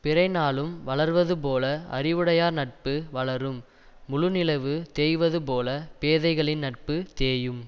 பிறை நாளும் வளர்வதுபோல அறிவுடையார் நட்பு வளரும் முழு நிலவு தேய்வது போல பேதைகளின் நட்பு தேயும்